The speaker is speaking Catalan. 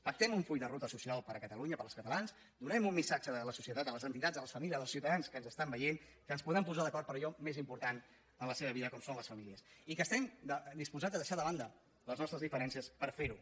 pactem un full de ruta social per a catalunya per als catalans donem un missatge a la societat a les entitats a les famílies als ciutadans que ens estan veient que ens podem posar d’acord en allò més important en la seva vida com són les famílies i que estem disposats a deixar de banda les nostres diferències per fer ho